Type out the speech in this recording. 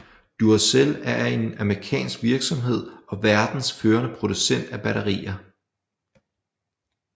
Duracell er en amerikansk virksomhed og verdens førende producent af batterier